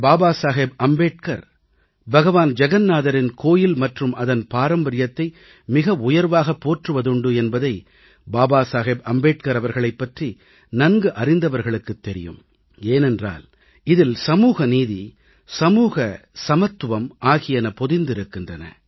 பாபா சாஹேப் அம்பேத்கர் பகவான் ஜகன்நாதரின் கோயில் மற்றும் அதன் பாரம்பரியத்தை மிக உயர்வாகப் போற்றுவதுண்டு என்பதை பாபா சாஹேப் அம்பேத்கர் அவர்களைப் பற்றி நன்கு அறிந்தவர்களுக்குத் தெரியும் ஏனென்றால் இதில் சமூகநீதி சமூக சமத்துவம் ஆகியன பொதிந்திருக்கின்றன